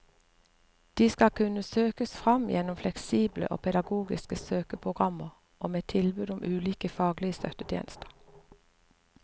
De skal kunne søkes fram gjennom fleksible og pedagogiske søkeprogrammer og med tilbud om ulike faglige støttetjenester.